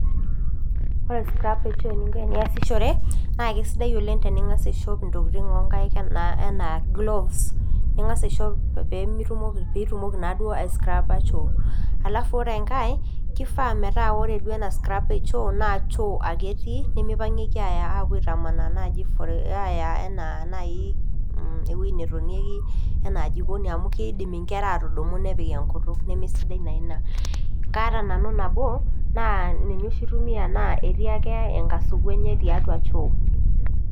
Kore scrappers ening'o piiyasishore, naa kesidae oleng' teningas' aishop intokitin oo nkaik enaa gloves, ningas aishop pee itumoki naaduo aiscrappisho. Alf kore engai kifaa metaa kore scrapper eshoo naw shoo ake etii nimipangieki naji aaya apuo aaitamanaa aya naaji ewueji netonieki enaa jikoni amu kiidim inkera aatudumu nepik enkutuk nemesidai naa ina. Kaata nanu nabo, naa ninye oshi aitumia naa etii ake enkasuku enye tiatua choo.